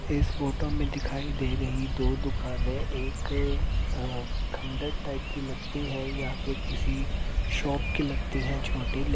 इस फोटो मे दिखाई दे रही दो दुकाने एक अ खंडर टाइप की लगती हैं या फिर किसी शॉप की लगती हैं छोटी ले --